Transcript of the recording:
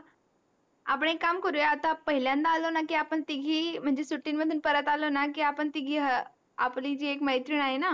आपण आता एक काम करूया आता पहिल्यांदा आलो न की आपण तिगही म्हणजे सुट्टी मधून परत आलो न आपण तिगही आपली जी एक मैत्रीण आहे न